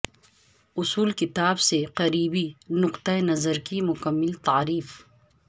اصول کتاب سے قریبی نقطہ نظر کی مکمل تعریف